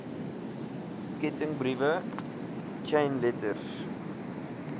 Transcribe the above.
kettingbriewe chain letters